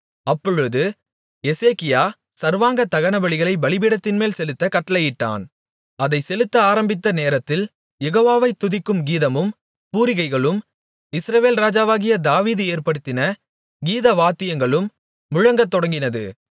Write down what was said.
அப்பொழுது எசேக்கியா சர்வாங்க தகனபலிகளைப் பலிபீடத்தின்மேல் செலுத்தக் கட்டளையிட்டான் அதை செலுத்த ஆரம்பித்த நேரத்தில் யெகோவாவை துதிக்கும் கீதமும் பூரிகைகளும் இஸ்ரவேல் ராஜாவாகிய தாவீது ஏற்படுத்தின கீதவாத்தியங்களும் முழங்கத்தொடங்கினது